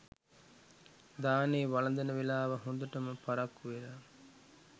දානේ වළඳන වේලාව හොඳටම පරක්කු වෙලා